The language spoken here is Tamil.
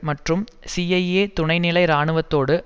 மற்றும் சிஐஏ துணைநிலை இராணுவத்தோடு